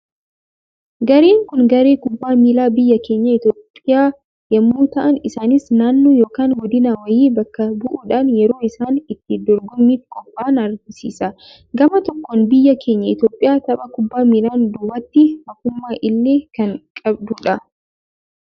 Gareen Kun, garee kubbaa miilaa biyya keenya Itoophiyaa yemmuu ta'an, isaanis naannoo yookaan goodina wayii bakka bu'uudhaan yeroo isaan itti dorgommiif qophaa'an argisiisa. Gama tokkoon biyyi keenya Itoophiyaan tapha kubbaa miilaan duubatti hafummaa illee kan qabdudha.